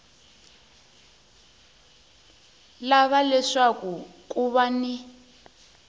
lava leswaku ku va ni